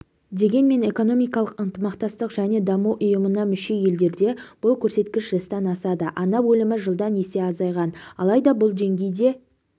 дегенмен экономикалық ынтымақтастық және даму ұйымына мүше елдерде бұл көрсеткіш жастан асады ана өлімі жылда есе азайған алайда бұл деңгей де